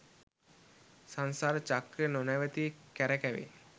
සංසාර චක්‍රය නොනැවති කරකැවෙයි